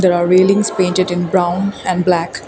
there are painted in brown and black.